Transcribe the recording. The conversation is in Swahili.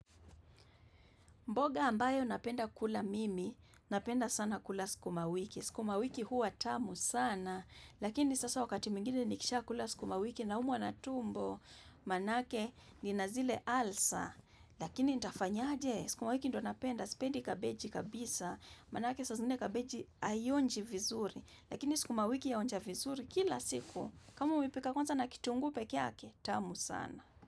Mboga ambayo napenda kula mimi, napenda sana kula sikumawiki. Sukumawiki hua tamu sana, lakini sasa wakati mwingine nikishaa kula sukumawiki naumwa na tumbo. Manake nina zile alsa, lakini nitafanyaje. Sukumawiki ndo napenda, sipendi kabeji kabisa. Manake saa zingine kabeji aionji vizuri. Lakini sukumawiki inaonja vizuri kila siku. Kama umepika kwanza na kitunguu peke ake, tamu sana.